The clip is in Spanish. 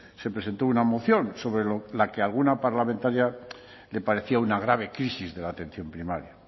se presentó una moción sobre la que alguna parlamentaria le parecía una grave crisis de la atención primaria